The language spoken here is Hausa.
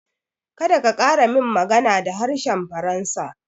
Kada ka ƙara min magana da harshen faransa